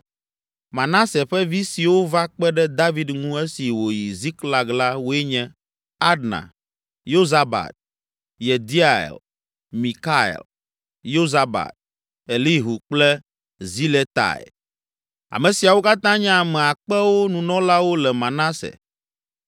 Manase ƒe vi siwo va kpe ɖe David ŋu esi wòyi Ziklag la woe nye: Adna, Yozabad, Yediael, Mikael, Yozabad, Elihu kple Ziletai. Ame siawo katã nye ame akpewo nunɔlawo le Manase.